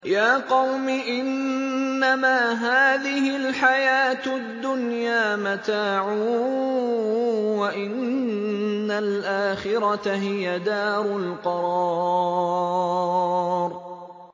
يَا قَوْمِ إِنَّمَا هَٰذِهِ الْحَيَاةُ الدُّنْيَا مَتَاعٌ وَإِنَّ الْآخِرَةَ هِيَ دَارُ الْقَرَارِ